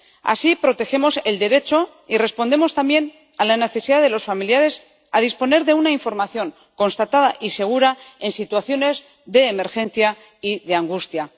Así protegemos el derecho y respondemos también a la necesidad de los familiares de disponer de una información constatada y segura en situaciones de emergencia y de angustia.